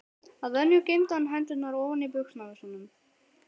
Að venju geymdi hann hendurnar ofan í buxnavösunum.